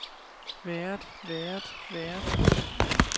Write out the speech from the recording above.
været været været